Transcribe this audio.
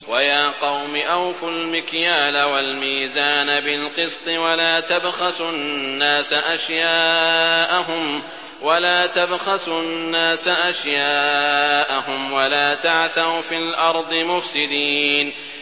وَيَا قَوْمِ أَوْفُوا الْمِكْيَالَ وَالْمِيزَانَ بِالْقِسْطِ ۖ وَلَا تَبْخَسُوا النَّاسَ أَشْيَاءَهُمْ وَلَا تَعْثَوْا فِي الْأَرْضِ مُفْسِدِينَ